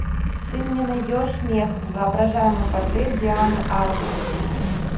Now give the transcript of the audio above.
ты мне найдешь мех воображаемый портрет дианы арбус